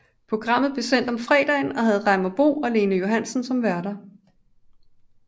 Programmet blev sendt om fredagen og havde Reimer Bo og Lene Johansen som værter